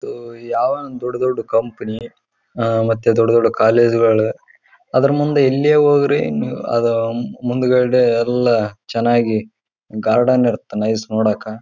ಹಗಾಗಿಲ್ಲಿ ಹಳ್ಳೀಲಿ ಬಾಳ ಕಡಿಮಿ ಇಲ್ಲಿ ಬಿಲ್ಡಿಂಗ್ ನೋಡಿದ್ರ ನಮಗೆ ಬಾಳ ನಿಟ್ ಇಟ್ಟಿರ್ತರ.